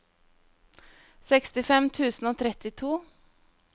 sekstifem tusen og trettito